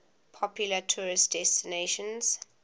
popular tourist destinations